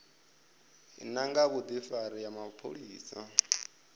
ya nga vhudifari ha mapholisani